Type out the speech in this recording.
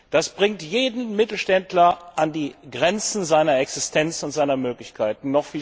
Das bringt jeden Mittelständler an die Grenzen seiner Existenz und seiner Möglichkeiten.